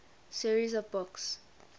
series of books